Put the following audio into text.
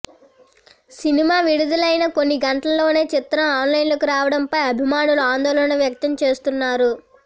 cinema విడుదలైన కొన్ని గంటల్లోనే చిత్రం ఆన్లైన్లోకి రావడంపై అభిమానులు ఆందోళన వ్యక్తం చేస్తున్నారు